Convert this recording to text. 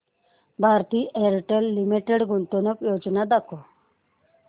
Bharti Airtel limited गुंतवणूक योजना दाखव